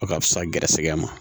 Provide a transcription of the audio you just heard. O ka fisa gɛrɛsɛgɛ ma